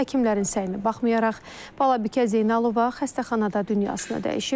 Həkimlərin səyinə baxmayaraq, Balabikə Zeynalova xəstəxanada dünyasını dəyişib.